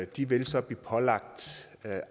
de vil så blive pålagt